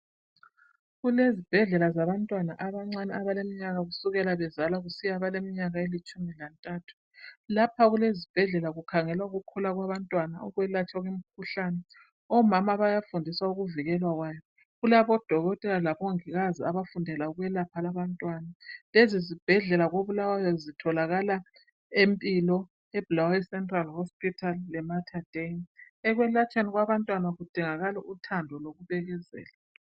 Kulezibhedlela zabantwana, abancane, abaleminyaka kusukela bezalwa kusiya abaleminyaka elitshumi lantathu. Lapha kulezibhedlela, kukhangelwa ukukhula kwabantwana. Lokwelatshwa kwabo. Omama bayafundiswa .ukuvikelwa kwayo. Kulamadokotela labomongikazi, abafundela ukwelatshwa kwabantwana. Lezizibhedlela koBulawayo zitholakala eMpilo, eBulawayo Central leMaterdei. Ekwelatshweni kwabantwana, kudingakala uthando, lokubekezela.